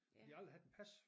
De har aldrig haft et pas